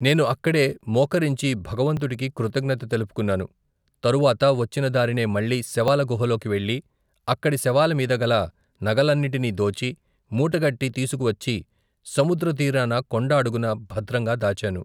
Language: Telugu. నేను అక్కడే మోకరించి భగవంతుడికి కృతజ్ఞత తెలుపుకున్నాను, తరువాత వచ్చిన దారినే మళ్ళీ శవాల గుహలోకి వెళ్ళి అక్కడి శవాల మీద గల నగలన్నీటినీ దోచి, మూటగట్టి తీసుకువచ్చి సముద్ర తీరాన కొండ అడుగున భద్రంగా దాచాను.